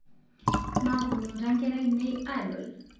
Maaponuta nkera ainien adol